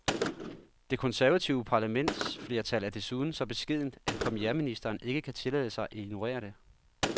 Det konservative parlamentsflertal er desuden så beskedent, at premierministeren ikke kan tillade sig at ignorere det.